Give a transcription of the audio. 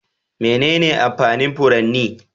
Menene amfanin furanni?